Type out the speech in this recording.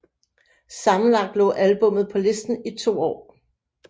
Sammenlagt lå albummet på listen i to år